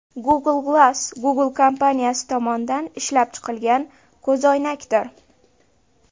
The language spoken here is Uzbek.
Google Glass – Google kompaniyasi tomonidan ishlab chiqilgan ko‘zoynakdir.